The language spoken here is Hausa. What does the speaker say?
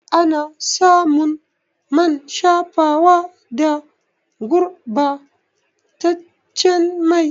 Ana samun man shafawa da gurba taccen mai